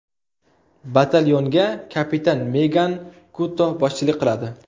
Batalyonga kapitan Megan Kuto boshchilik qiladi.